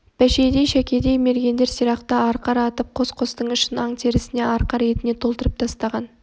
бәшейдей шәкедей мергендер сирақты арқар атып қос-қостың ішін аң терісіне арқар етіне толтырып тастаған